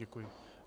Děkuji.